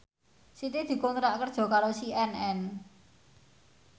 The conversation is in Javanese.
Siti dikontrak kerja karo CNN